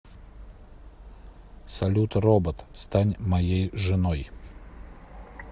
салют робот стань моей женой